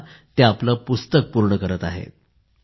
आता ते आपलं पुस्तक पूर्ण करत आहेत